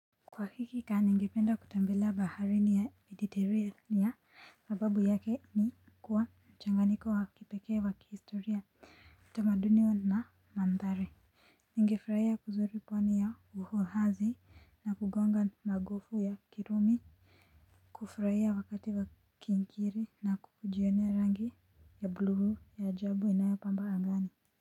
Kwa hakika ningependa kutembelea baharini ya mediteriania sababu yake ni kuwa mchanganiko wakipekee wa kihistoria utamadunio na mandhari. Nigefurahia kuzuru pwani ya uhohazi na kugonga magofu ya kirumi. Kufurahia wakati wa kinkiri na kujione rangi ya bluu ya ajabu inayo pamba angani.